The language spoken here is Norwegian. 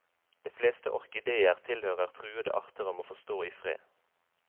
De fleste orkideer tilhører truede arter og må få stå i fred.